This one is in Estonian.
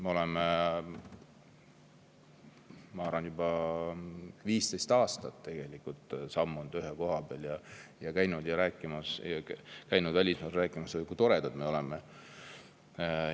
Me oleme, ma arvan, juba 15 aastat sammunud ühe koha peal ja käinud välismaal rääkimas, kui toredad me oleme.